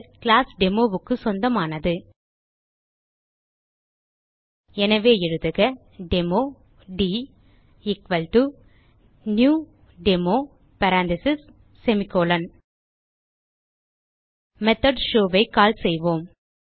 class Demoக்கு சொந்தமானது எனவே எழுதுக demo dnew demo parenthesis semicolon method show ஐ கால் செய்வோம்